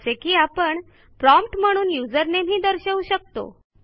जसे की आपण प्रॉम्प्ट म्हणून यूझर नामे ही दर्शवू शकतो